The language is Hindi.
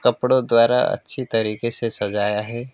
कपड़ों द्वारा अच्छी तरीके से सजाया है।